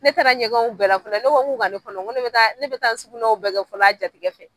Ne taara ɲɛgɛnw bɛɛ la fɔlɔ ne ko ŋ'u ka ne kɔnɔ ŋo ne bɛ taa ne bɛ taa n sugunɛw bɛɛ kɛ fɔlɔ a jatigi fɛ.